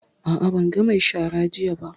A'a, ban ga mai shara jiya ba.